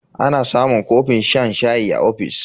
Ana samun kofin shan shayi a ofis.